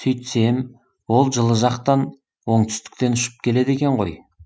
сөйтсем ол жылы жақтан оңтүстіктен ұшып келеді екен ғой